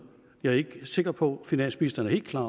jeg ikke er helt sikker på at finansministeren er helt klar